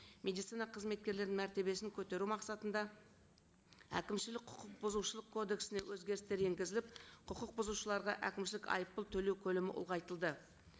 медицина қызметкерлерінің мәртебесін көтеру мақсатында әкімшілік құқық бұзушылық кодексіне өзгерістер енгізіп құқық бұзушыларға әкімшілік айыппұл төлеу көлемі ұлғайтылды